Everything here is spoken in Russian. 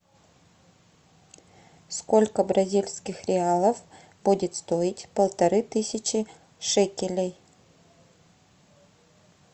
сколько бразильских реалов будет стоить полторы тысячи шекелей